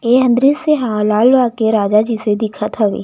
एहा दृस्य ह लालबाग के राजा जइसे दिखत हवे।